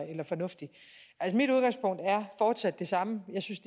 eller fornuftig mit udgangspunkt er fortsat det samme jeg synes